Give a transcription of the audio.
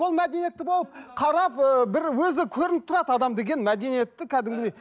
ол мәдениетті болып қарап ыыы бір өзі көрініп тұрады адам деген мәдениетті кәдімгідей